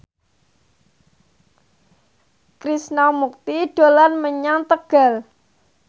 Krishna Mukti dolan menyang Tegal